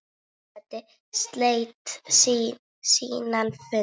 Forseti sleit síðan fundi.